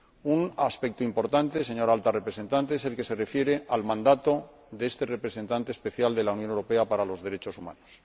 Un aspecto importante, señora Alta Representante, es el que se refiere al mandato de este Representante Especial de la Unión Europea para los Derechos Humanos.